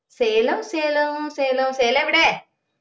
സെലോം സെലോം സേലം സേലം എവിടെ